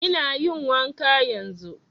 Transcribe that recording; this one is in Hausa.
Ina yin wanka yanzun